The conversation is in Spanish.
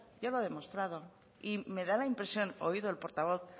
ya lo ha demostrado y me da la impresión oído el portavoz